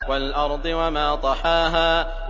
وَالْأَرْضِ وَمَا طَحَاهَا